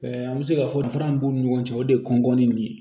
an bɛ se ka fɔ fana b'u ni ɲɔgɔn cɛ o de ye kɔnkɔnni nin ye